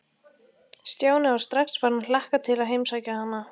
Stjáni var strax farinn að hlakka til að heimsækja hana.